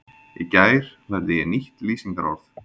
Í gær lærði ég nýtt lýsingarorð.